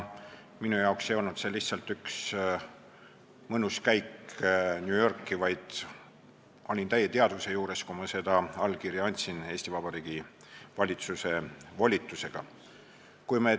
Minu jaoks ei olnud see lihtsalt üks mõnus käik New Yorki, vaid ma olin täie teadvuse juures, kui ma Eesti Vabariigi valitsuse volitusega seda allkirja andsin.